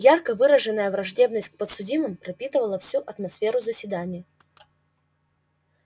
ярко выраженная враждебность к подсудимым пропитывала всю атмосферу заседания